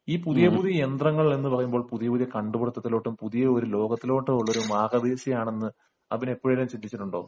ഈ പുതിയ പുതിയ യന്ത്രങ്ങൾ എന്ന് പറയുന്നത് പുതിയ പുതിയ കണ്ടുപിടിത്തത്തിലോട്ടും പുതിയൊരു ലോകത്തിലോട്ടും ഉള്ള ഒരു മാർഗ്ഗദീക്ഷ ആണെന്ന് അബിന് എപ്പോഴെങ്കിലും തോന്നിയിട്ടുണ്ടോ